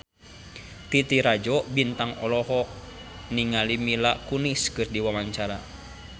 Titi Rajo Bintang olohok ningali Mila Kunis keur diwawancara